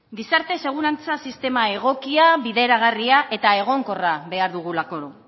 gizarte segurantza sistema egokia bideragarria eta egonkorra behar dugulako